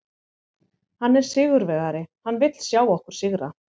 Hann er sigurvegari, hann vill sjá okkur sigra.